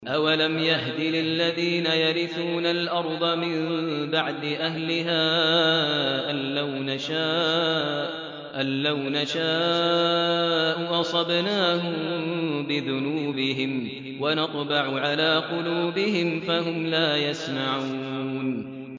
أَوَلَمْ يَهْدِ لِلَّذِينَ يَرِثُونَ الْأَرْضَ مِن بَعْدِ أَهْلِهَا أَن لَّوْ نَشَاءُ أَصَبْنَاهُم بِذُنُوبِهِمْ ۚ وَنَطْبَعُ عَلَىٰ قُلُوبِهِمْ فَهُمْ لَا يَسْمَعُونَ